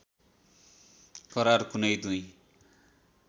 करार कुनै दुई